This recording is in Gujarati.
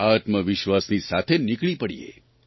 આત્મવિશ્વાસની સાથે નીકળી પડીએ